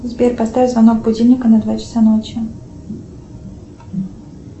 сбер поставь звонок будильника на два часа ночи